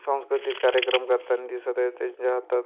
सांस्कृतिक कार्यक्रम करतानी दिसत आहेत त्यांच्या हातात --